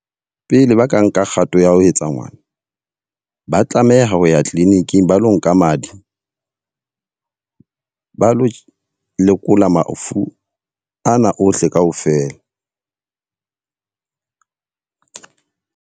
Pele ba ka nka kgato ya ho etsa ngwana, ba tlameha ho ya clinic-ing ba lo nka madi. Ba lo lekola mafu ana ohle ka ofela.